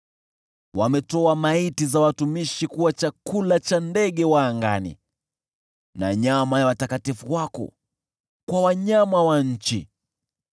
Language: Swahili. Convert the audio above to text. Wametoa maiti za watumishi kuwa chakula cha ndege wa angani na nyama ya watakatifu wako kwa wanyama wa nchi.